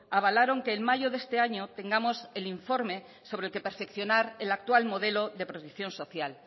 avalaron que en mayo de este año tengamos el informe sobre el que perfeccionar el actual modelo de protección social